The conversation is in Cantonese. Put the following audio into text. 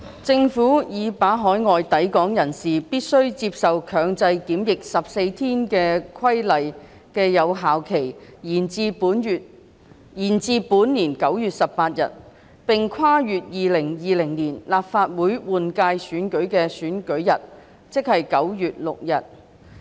政府已把海外抵港人士必須接受強制檢疫14天的規例的有效期延至本年9月18日，並跨越2020年立法會換屆選舉的選舉日。